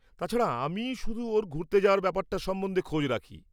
তাছাড়া, আমিই শুধু ওর ঘুরতে যাওয়ার ব্যাপারটা সম্বন্ধে খোঁজ রাখি।